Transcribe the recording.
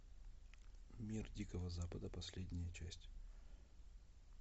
мир дикого запада последняя часть